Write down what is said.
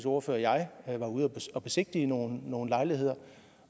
ordfører og jeg var ude at besigtige nogle nogle lejligheder